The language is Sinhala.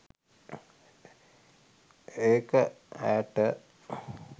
ඒක ඈට